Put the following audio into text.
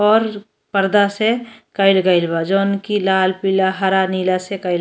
और पर्दा से कईल गईल बा। जोंकी लाल पीला हरा नीला से कईल --